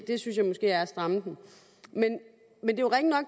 det synes jeg måske er at stramme den men